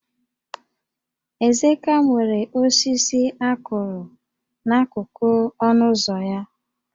Ezeka nwere osisi a kụrụ n'akụkụ ọnụ ụzọ ya